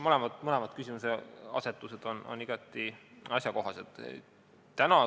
Ma arvan, et mõlemad küsimuseasetused on igati asjakohased.